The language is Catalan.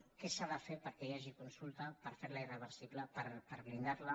què s’ha de fer perquè hi hagi consulta per ferla irreversible per blindarla